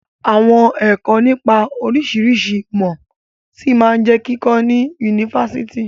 Àwọn ẹ̀kọ́ nipa oríṣiríṣi ìmọ̀ ṣí máa jẹ kíkọ ni Fásitì.